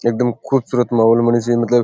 एकदम खूब सूरत मॉल बनी सी मतलब --